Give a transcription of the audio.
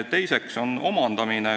Teine võimalus on omandamine.